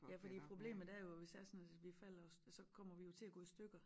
Ja fordi problemet er jo at hvis det er sådan at vi falder så kommer vi jo til at gå i stykker